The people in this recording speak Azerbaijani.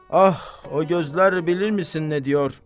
Ah, o gözlər bilirmisən nə diyor?